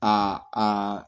Aa aa